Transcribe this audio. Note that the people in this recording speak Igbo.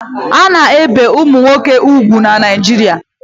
A na-ebi ụmụ nwoke úgwù na Naijiria